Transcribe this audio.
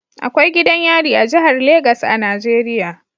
Akwai gidan yari a jihar Legas a Najeriya